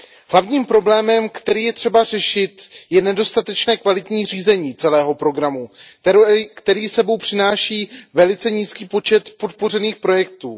Hlavním problémem, který je třeba řešit, je nedostatečné kvalitní řízení celého programu, které s sebou přináší velice nízký počet podpořených projektů.